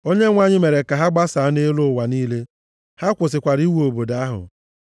Onyenwe anyị mere ka ha gbasaa nʼelu ụwa niile. Ha kwụsịkwara iwu obodo ahụ.